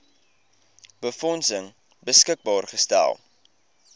befondsing beskikbaar gestel